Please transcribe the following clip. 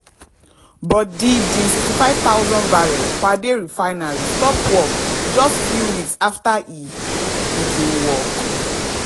but di di 65000 barrels per day refinery stop work just few weeks afta e begin work.